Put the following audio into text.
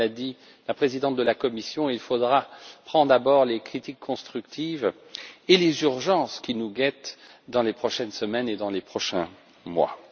Comme l'a dit la présidente de la commission, il faudra d'abord prendre en compte les critiques constructives et les urgences qui nous guettent dans les prochaines semaines et dans les prochains mois.